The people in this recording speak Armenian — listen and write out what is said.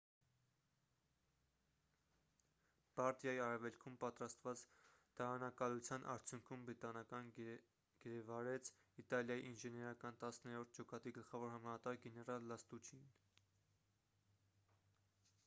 բարդիայի արևելքում պատրաստված դարանակալության արդյունքում բրիտանիան գերեվարեց իտալիայի ինժեներական տասներորդ ջոկատի գլխավոր հրամանատար գեներալ լաստուչիին